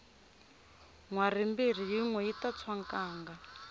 nhwari mbirhi yinwe yita tshwa nkanga